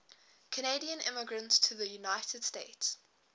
canadian immigrants to the united states